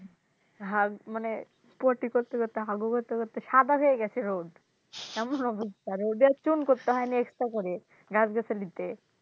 হাগ মানে poty করতে করতে হাগু করতে করতে সাদা হয়ে গেছে road এমন অবস্থা road এ চুন করতে হয়নি extra করে গাছ গাছালিতে।